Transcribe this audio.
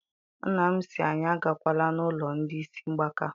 Nna m sị anyị agakwala n'ụlọ ndị isi mgbaka.